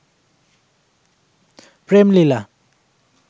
প্রেম লীলা